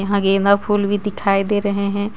यहां गेंदा फूल भी दिखाई दे रहे हैं.